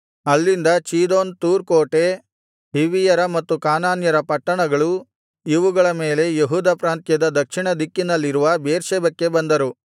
ಅಲ್ಲಿಂದ ಚೀದೋನ್ ತೂರ್ ಕೋಟೆ ಹಿವ್ವಿಯರ ಮತ್ತು ಕಾನಾನ್ಯರ ಪಟ್ಟಣಗಳು ಇವುಗಳ ಮೇಲೆ ಯೆಹೂದ ಪ್ರಾಂತ್ಯದ ದಕ್ಷಿಣದಿಕ್ಕಿನಲ್ಲಿರುವ ಬೇರ್ಷೆಬಕ್ಕೆ ಬಂದರು